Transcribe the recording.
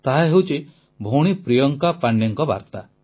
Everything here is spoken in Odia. ତାହା ହେଉଛି ଭଉଣୀ ପ୍ରିୟଙ୍କା ପାଣ୍ଡେଙ୍କ ବାର୍ତ୍ତା